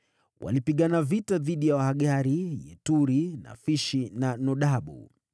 Walipigana vita dhidi ya Wahagari, Yeturi, Nafishi na Nodabu.